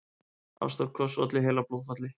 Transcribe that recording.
Ástarkoss olli heilablóðfalli